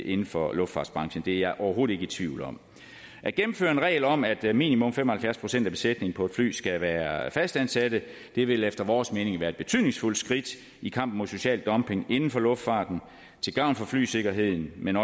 inden for luftfartsbranchen det er jeg overhovedet ikke i tvivl om at gennemføre regler om at minimum fem og halvfjerds procent af besætningen på et fly skal være fastansatte vil efter vores mening være et betydningsfuldt skridt i kampen mod social dumping inden for luftfarten til gavn for flysikkerheden men